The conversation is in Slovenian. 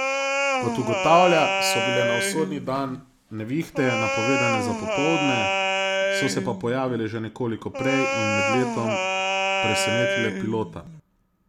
Kot ugotavlja, so bile na usodni dan nevihte napovedane za popoldne, so se pa pojavile že nekoliko prej in med letom presenetile pilota.